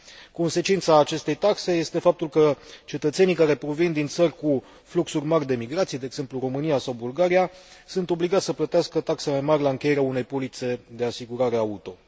Consecința acestei taxe este faptul că cetățenii care provin din țări cu fluxuri mari de migrație, de exemplu, România sau Bulgaria, sunt obligați să plătească taxe mai mari la încheierea unei polițe de asigurare auto.